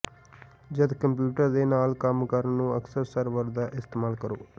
ਜਦ ਕੰਪਿਊਟਰ ਦੇ ਨਾਲ ਕੰਮ ਕਰਨ ਨੂੰ ਅਕਸਰ ਸਰਵਰ ਦਾ ਇਸਤੇਮਾਲ ਕਰੋ